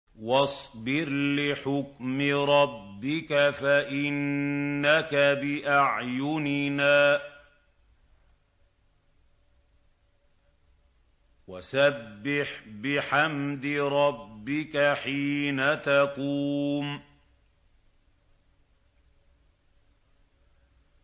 وَاصْبِرْ لِحُكْمِ رَبِّكَ فَإِنَّكَ بِأَعْيُنِنَا ۖ وَسَبِّحْ بِحَمْدِ رَبِّكَ حِينَ تَقُومُ